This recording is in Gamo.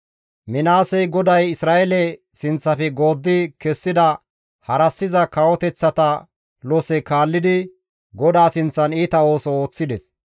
Minaasey GODAY Isra7eele sinththafe gooddi kessida harassiza kawoteththata lose kaallidi GODAA sinththan iita ooso ooththides.